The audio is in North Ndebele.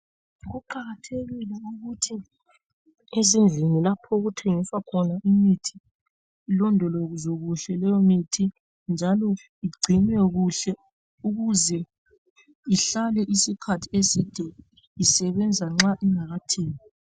Kuqakathekile ukuthi ezindlini lapho okuthengiswa khona imithi ilondolozwe kuhle leyo mithi njalo igcinwe kuhle ukuze ihlale isikhathi eside isebenza nxa ingakathengwa.